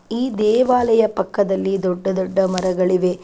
ಈ ದೇವಾಲಯ ಪಕ್ಕದಲ್ಲಿ ದೊಡ್ಡ ದೊಡ್ಡ ಮರಗಳಿವೆ .